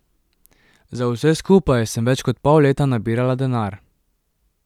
Za vse skupaj sem več kot pol leta nabirala denar.